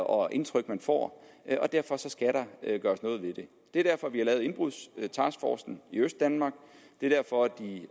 og indtryk man får og derfor skal der gøres noget ved det det er derfor vi har lavet indbrudstaskforcen i østdanmark det er derfor at de